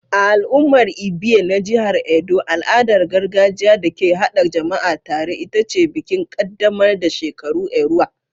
A al'ummar Ibie na jihar Edo al'adar gargajiya da ke haɗa jama'a tare ita ce bikin ƙaddamar da shekaru Erua.